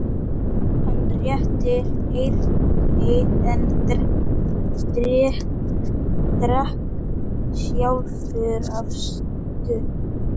Hann rétti Erni en drakk sjálfur af stút.